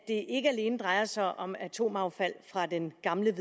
ikke alene drejer sig om atomaffald fra den gamle